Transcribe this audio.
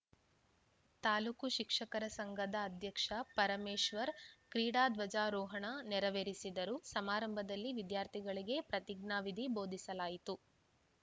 ತಾಲೂಕು ಶಿಕ್ಷಕರ ಸಂಘದ ಅಧ್ಯಕ್ಷ ಪರಮೇಶ್ವರ್‌ ಕ್ರೀಡಾಧ್ವಜಾರೋಹಣ ನೆರವೇರಿಸಿದರು ಸಮಾರಂಭದಲ್ಲಿ ವಿದ್ಯಾರ್ಥಿಗಳಿಗೆ ಪ್ರತಿಜ್ಞಾವಿಧಿ ಬೋಧಿಸಲಾಯಿತು